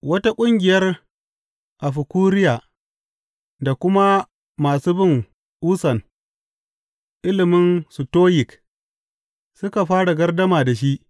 Wata ƙungiyar Afikuriya da kuma masu bin ussan ilimin Sitoyik suka fara gardama da shi.